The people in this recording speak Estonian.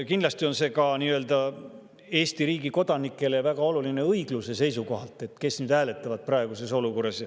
Kindlasti on see Eesti riigi kodanikele väga oluline ka õigluse seisukohast, kes hääletavad praeguses olukorras.